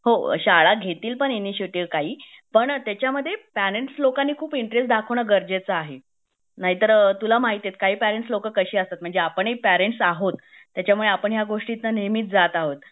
हो म्हणजे शाळा घेतील पण इणीशीयटीव काही पण त्याचमध्ये पेरेंट्स लोकांनी खूप इंटरेस्ट दाखवणं गरजेचं आहे नाईतर तुला महितीएत काही पेरेंट्स लोक काशी असतात ते म्हणजे आपण ही पेरेंट्स आहोत त्याचमुळे आपण ह्या गोष्टीचा नेहमी जात आहोत